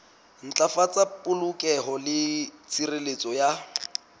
ntlafatsa polokeho le tshireletso ya